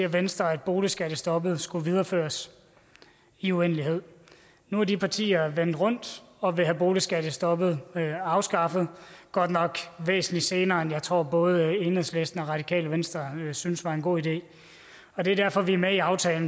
venstre at boligskattestoppet skulle videreføres i uendelighed nu er de partier vendt rundt og vil have boligskattestoppet afskaffet godt nok væsentlig senere end jeg tror både enhedslisten og radikale venstre synes er en god idé og det er derfor vi er med i aftalen